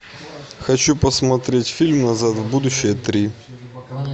хочу посмотреть фильм назад в будущее три